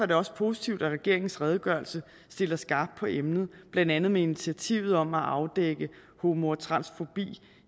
det også positivt at regeringens redegørelse stiller skarpt på emnet blandt andet med initiativet om at afdække homo og transfobi